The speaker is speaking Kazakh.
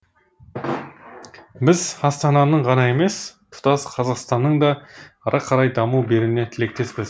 біз астананың ғана емес тұтас қазақстанның да ары қарай даму беруіне тілектеспіз